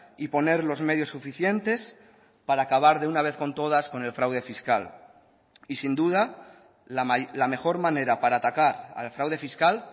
y poner los medios suficientes para acabar de una vez con todas con el fraude fiscal y sin duda la mejor manera para atacar al fraude fiscal